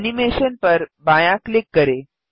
animation पर बायाँ click करें